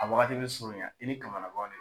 A wagati be surunya i ni kamanaguwan de